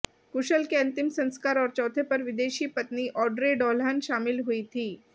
कुशल के अंतिम संस्कार और चौथे पर विदेशी पत्नी ऑड्रे डोल्हन शामिल हुई थी